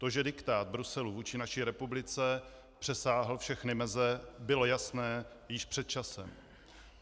To, že diktát Bruselu vůči naší republice přesáhl všechny meze, bylo jasné již před časem.